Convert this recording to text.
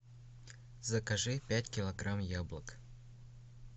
закажи пять килограмм яблок